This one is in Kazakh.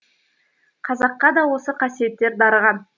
қазаққа да осы қасиеттер дарыған